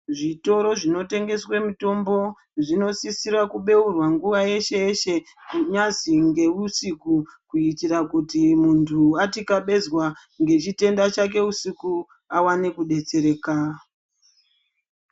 Zvitoro zvinotengeswe mitombo, zvinosisira kubeurwa nguwa yeshe-yeshe, kunyazi ngeusiku, kuitira kuti muntu watikabezwa ngechitenda chake usiku awane kudetsereka.